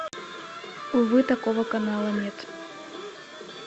увы такого канала нет